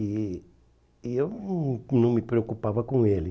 E e eu não não me preocupava com ele.